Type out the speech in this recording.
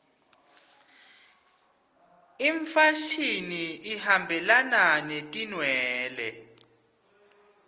imfashini ihambelana netinwele